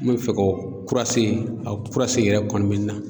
N bɛ fɛ ka o kurase a kurase yɛrɛ kɔni bɛ n na.